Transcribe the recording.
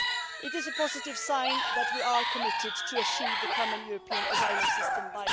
It is a positive sign that we are committed to achieving the common European asylum system by